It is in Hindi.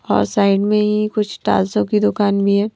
और साइड में ही कुछ टालसों की दुकान भी है।